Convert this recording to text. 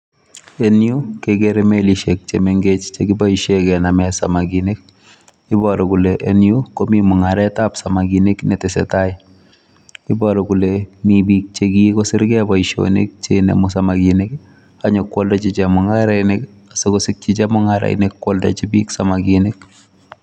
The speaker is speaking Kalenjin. En yu kegere melishek che menhech che kiboisien kenamen samkinik. Iboru kole en yu komi mung'aret ab samkinik ne tesetai. Iboru kole mi biik che kigosirge boisionik che inemu samakinik anyo kooldochi chemung'arainik asi kosikyi chemung'aiinik konyikoaldochi biik samakinik.